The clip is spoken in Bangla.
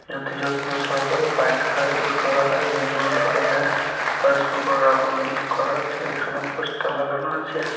যত যত্ন সহকারে বাইক সার্ভিস করা হয় বিভিন্ন ধরনের করা আছে এখানে পোস্টার লাগানো আছে।